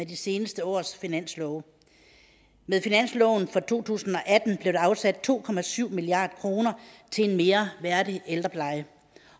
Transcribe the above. de seneste års finanslove med finansloven for to tusind og atten blev der afsat to milliard kroner til en mere værdig ældrepleje